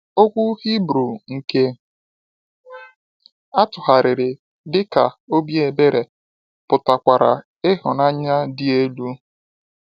Okwu Hibru nke atụgharịrị dị ka “obi ebere” pụtakwara “ịhụnanya dị elu.”